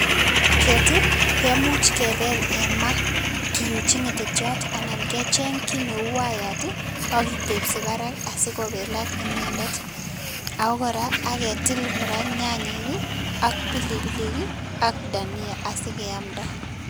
Ngokyet ii kemuch kebel en ma, kiuchi ngetetyot anan kecheng kiy neu wayet ii ak kitepsi barak asi kobelak inende, ako kora aketil kora nyanyik ii, ak pilipilik ii, ak dhania asikeamda.